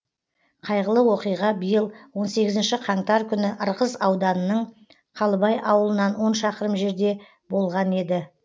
қайғылы оқиға биыл он сегізінші қаңтар күні ырғыз ауданының қалыбай ауылынан он шақырым жерде болған еді